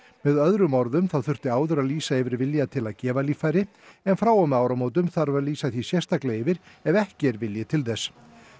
með öðrum orðum þá þurfti áður að lýsa yfir vilja til að gefa líffæri en frá og með áramótum þarf að lýsa því sérstaklega yfir ef ekki er vilji til þess